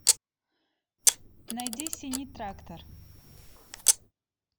найди синий трактор